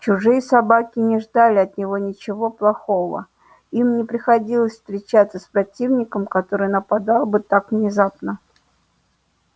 чужие собаки не ждали от него ничего плохого им не приходилось встречаться с противником который нападал бы так внезапно